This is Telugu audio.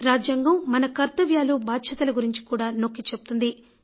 రాజ్యాంగం మన కర్తవ్యాలు బాధ్యతల గురించి కూడా నొక్కి చెబుతుంది